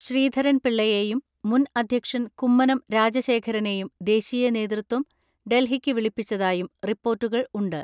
ശ്രീധരൻ പിള്ളയെയും, മുൻ അധ്യക്ഷൻ കുമ്മനം രാജശേഖരനെയും ദേശീയ നേതൃത്വം ഡൽഹിക്ക് വിളിപ്പിച്ചതായും റിപ്പോർട്ടുകൾ ഉണ്ട്.